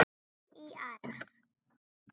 Tekin í arf.